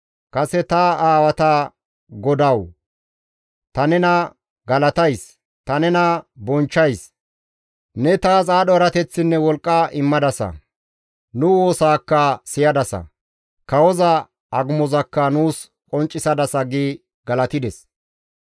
Kase ta aawata Godawu! Ta nena galatays; ta nena bonchchays; ne taas aadho erateththinne wolqqa immadasa; nu woosaakka siyadasa; kawoza agumozakka nuus qonccisadasa» gi galatides.